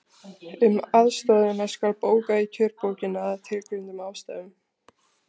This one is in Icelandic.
Um aðstoðina skal bóka í kjörbókina, að tilgreindum ástæðum.